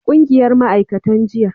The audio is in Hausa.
ƙungiyar ma'aikatan jinya